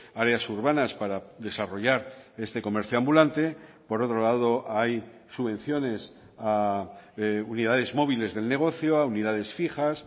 áreas urbanas para desarrollar este comercio ambulante por otro lado hay subvenciones a unidades móviles del negocio a unidades fijas